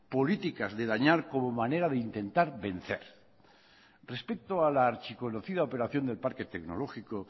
políticas de dañar como manera de intentar vencer respecto a la archiconocida operación del parque tecnológico